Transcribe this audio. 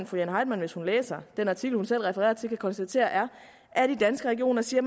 fru jane heitmann hvis hun læser den artikel hun selv refererer til kan konstatere er at de i danske regioner siger